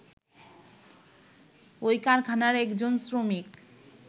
ওই কারাখানার একজন শ্রমিক